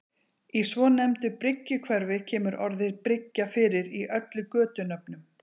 Í svonefndu Bryggjuhverfi kemur orðið bryggja fyrir í öllum götunöfnum.